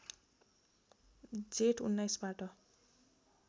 जेठ १९ बाट